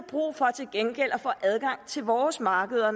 brug for til gengæld at få adgang til vores markeder